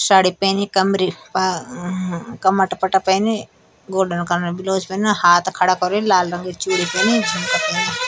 साडी पैनी कमरी पा कमतपट्टा पेनी गोल्डन कलर बिलोज पैनु हाथ खड़ा कर्यु लाल रंगेक चूड़ी पेनी झुमका पैन्या।